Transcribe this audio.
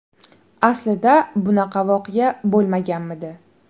Aslida bunaqa voqea bo‘lmaganmidi?